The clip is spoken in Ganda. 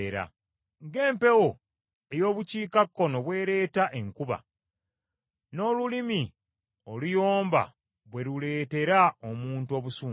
Ng’empewo ey’obukiikakkono bwereeta enkuba, n’olulimi oluyomba bwe luleetera omuntu obusungu.